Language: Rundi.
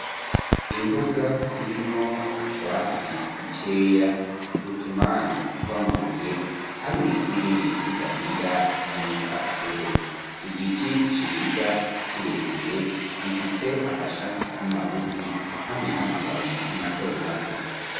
Imbuga, irimwo utwatsi, dukeya, utumanyu tw'amabuye, hamwe n'ibindi, bisigarira, vy'ibipapuro; igiti ciza, kirekire, gifise amashami magufi, hamwe n'amababi, mato mato.